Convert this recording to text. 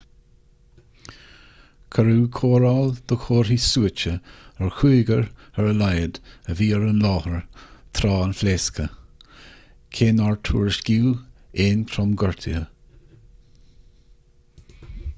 cuireadh cóireáil do chomharthaí suaite ar chúigear ar a laghad a bhí ar an láthair tráth an phléasctha cé nár tuairiscíodh aon tromghortuithe